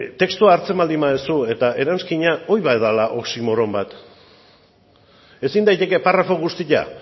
testua hartzen baldin baduzu eta eranskina hori bai dela oxímoron bat ezin daiteke parrafo guztia